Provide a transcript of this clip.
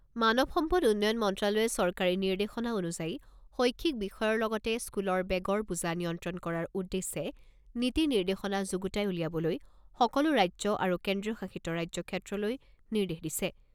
মানৱ সম্পদ উন্নয়ন মন্ত্ৰ্যালয়ে চৰকাৰী নিৰ্দেশনা অনুযায়ী শৈক্ষিক বিষয়ৰ লগতে স্কুলৰ বেগৰ বোজা নিয়ন্ত্ৰণ কৰাৰ উদ্দেশ্যে নীতি নিৰ্দেশনা যুগুতাই উলিয়াবলৈ সকলো ৰাজ্য আৰু কেন্দ্ৰীয় শাসিত ৰাজ্যক্ষেত্ৰলৈ নিৰ্দেশ দিছে।